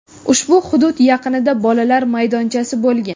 Ushbu hudud yaqinida bolalar maydonchasi bo‘lgan.